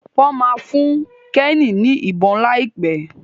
Wón má fún Kenny ní ìbọn laipe.